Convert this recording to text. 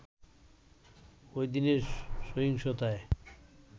ওইদিনের সহিংসতায়